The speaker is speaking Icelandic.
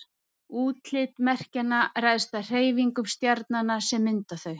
Útlit merkjanna ræðst af hreyfingum stjarnanna sem mynda þau.